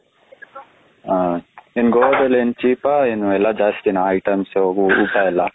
ಹ ನಿಮ್ಮ ಗೋವಾದಲ್ಲಿ ಏನ್ cheap ಹ ಏನು ಎಲ್ಲ ಜಾಸ್ತಿ ನ items ಊಟ ಎಲ್ಲ.